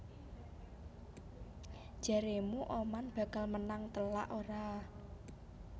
Jaremu Oman bakal menang telak ora?